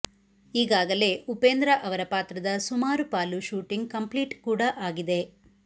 ಈಗಗಾಲೇ ಉಪೇಂದ್ರ ಅವರ ಪಾತ್ರದ ಸುಮಾರು ಪಾಲು ಶೂಟಿಂಗ್ ಕಂಪ್ಲೀಟ್ ಕೂಡ ಆಗಿದೆ